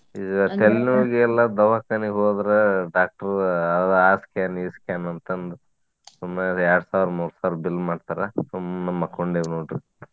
ದವಾಖಾನಿಗ್ ಹೋದ್ರ doctor ಅದ್ ಆ scan ಈ scan ಅಂತ ಅಂದು. ಸುಮ್ನ ಅದ್ ಎರ್ಡ್ ಸಾವ್ರ ಮೂರ್ ಸಾವ್ರ bill ಮಾಡ್ತಾರ. ಸುಮ್ನ ಮಕ್ಕೊಂಡೆವ್ ನೋಡ್ರಿ .